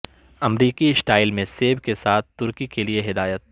امریکی سٹائل میں سیب کے ساتھ ترکی کے لئے ہدایت